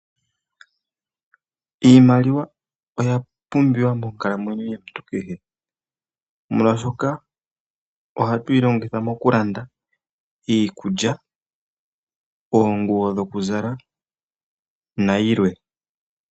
Iimaliwa oya pumbiwa mokukalamwenyo kwetu kwakehe esiku, molwashoka ohatwiilongitha mokulanda iikulya, oonguwo dhokuzala nayilwe.